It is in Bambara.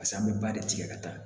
pase an be ba de tigɛ ka taa